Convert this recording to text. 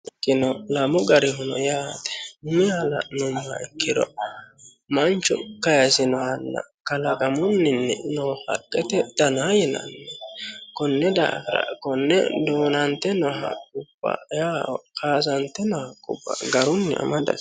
kino lamu garihuno yaate umiha la'neemmoha ikkiro manchu kayisinohanna kalagamunninni noo haqqete dana yinanni konne daafira konne duunante noha woyi kaasante noha haqqubba garunni amadate.